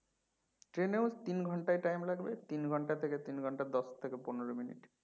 train এও তিন ঘন্টা time লাগবে তিন ঘন্টা থেকে তিন ঘন্টা দশ থেকে পনেরো minute